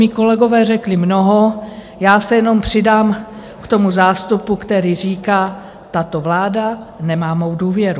Mí kolegové řekli mnoho, já se jenom přidám k tomu zástupu, který říká, tato vláda nemá mou důvěru.